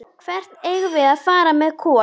Hvert eigum við að fara með Kol?